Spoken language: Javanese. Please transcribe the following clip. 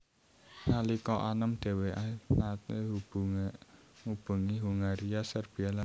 Nalika anom dhèwèké naté ngubengi Hongaria Serbia lan Rumania